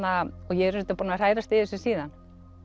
ég er auðvitað búin að hrærast í þessu síðan